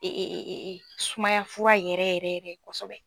sumaya fura yɛrɛ yɛrɛ yɛrɛ kosɛbɛ.